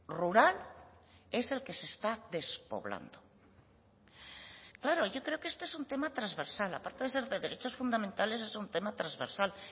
rural es el que se está despoblando claro yo creo que este es un tema transversal aparte de ser de derechos fundamentales es un tema transversal